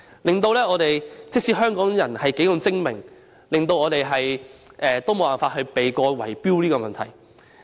結果，即使香港人如何精明，也無法避過圍標問題。